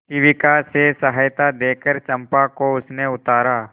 शिविका से सहायता देकर चंपा को उसने उतारा